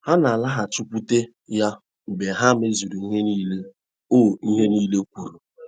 Ha ‘ na - alaghachikwute ’ ya mgbe ha mezuru ihe nile o ihe nile o kwuru.